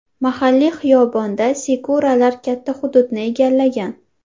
Mahalliy xiyobonda sakuralar katta hududni egallagan.